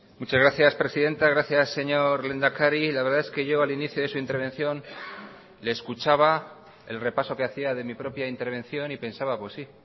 muchas gracias presidenta gracias señor lehendakari la verdad es que yo al inicio de su intervención le escuchaba el repaso que hacía de mi propia intervención y pensaba pues sí